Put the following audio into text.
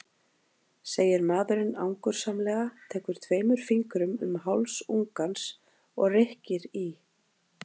segir maðurinn angursamlega, tekur tveimur fingrum um háls ungans og rykkir í.